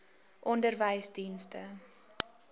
onderwysdienste